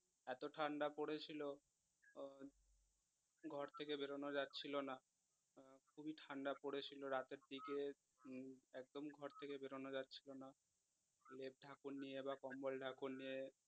এত ঠান্ডা পড়েছিল আহ ঘড় থেকে বেড়ানো যাচ্ছিলো না আহ খুবই ঠান্ডা পড়েছিল রাতের দিকে উম একদমই ঘর থেকে বেড়ানো যাচ্ছিলো না লেপ ঢাকুন নিয়ে বা কম্বল ঢাকুন নিয়ে